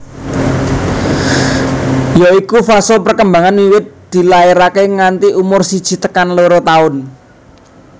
Ya iku fase perkembangan wiwit dilairake nganti umur siji tekan loro taun